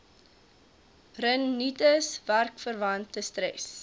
rinitis werkverwante stres